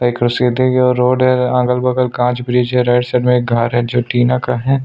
एक सीधी रोड है अगल-बगल कांच ब्रिज है राईट साईड मे घर है जो टीना का है।